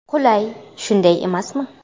Qulay, shunday emasmi?